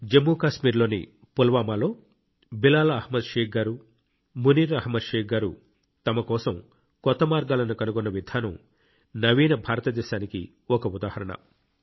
జమ్మూ కాశ్మీర్లోని పుల్వామాలో బిలాల్ అహ్మద్ షేక్ గారు మునీర్ అహ్మద్ షేక్ గారు తమ కోసం కొత్త మార్గాలను కనుగొన్న విధానం నవీన భారతదేశానికి ఒక ఉదాహరణ